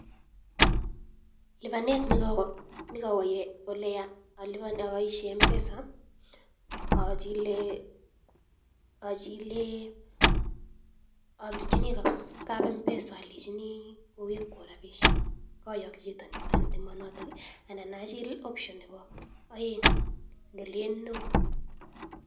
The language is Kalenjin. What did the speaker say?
Lipanet ne kawo ole yaa aboishe Mpesa, achile, achile apirchini kap Mpesa alenchini kowekwo rapishek kayokchi chi nemonotok anan achil option nebo aeng nelen [no]